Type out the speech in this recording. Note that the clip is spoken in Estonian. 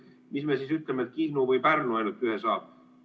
Miks me siis ütleme, et Kihnu või Pärnu ainult ühe saab?